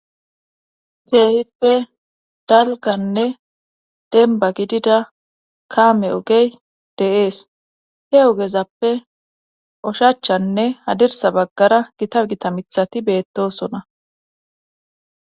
Geehippe dalganne denba gidida kaame ogey deees he ogezappe oshachanne hadirsa baggara gita gita mithati beettosona.